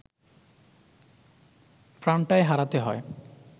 প্রাণটাই হারাতে হয়